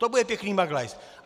To bude pěkný maglajs!